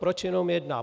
Proč jenom jedna?